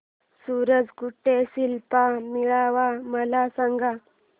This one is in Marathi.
सूरज कुंड शिल्प मेळावा मला सांग